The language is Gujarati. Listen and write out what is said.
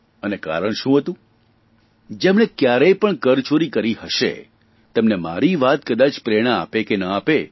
અને કારણ શું હતું જેમણે કયારેય પણ કરચોરી કરી હશે તેમને મારી વાત કદાચ પ્રેરણા આપે કે ના આપે